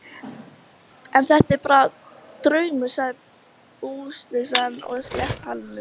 Enn eru þetta bara draumar, sagði búsýslan og sleit talinu.